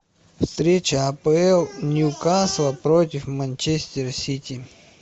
встреча апл ньюкасла против манчестер сити